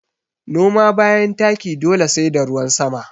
Noma bayan taki dole sai da ruwan sama